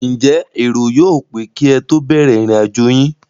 Ǹjẹ́ èrò yóò pé kí ẹ tó bẹ̀rẹ̀ ìrìn àjò yín?